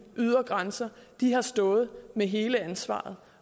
ydre grænser har stået med hele ansvaret